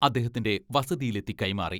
അദ്ദേഹത്തിന്റെ വസതിയിലെത്തി കൈമാറി.